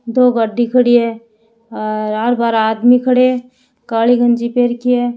दो गाड़ी खड़ी है और आर बार आदमी खड़े है काली गंजी पहन रखी है।